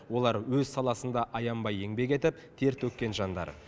олар өз саласында аянбай еңбек етіп тер төккен жандар